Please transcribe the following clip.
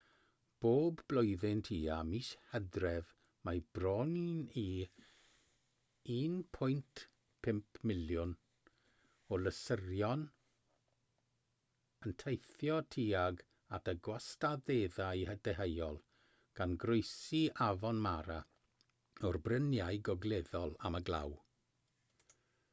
bob blwyddyn tua mis hydref mae bron i 1.5 miliwn o lysysorion yn teithio tuag at y gwastadeddau deheuol gan groesi afon mara o'r bryniau gogleddol am y glaw